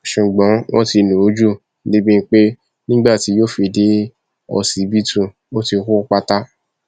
ṣùgbọn wọn ti lù ú jù débìí pé nígbà tí yóò fi dé ọsibítù ó ti kú pátá